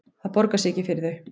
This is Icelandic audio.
Það borgar sig ekki fyrir þau